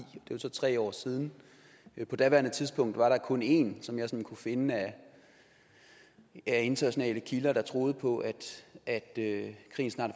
jo så tre år siden på daværende tidspunkt var der kun en som jeg sådan kunne finde af internationale kilder der troede på at at krigen snart